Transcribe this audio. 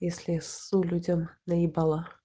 если я ссу людям на ебала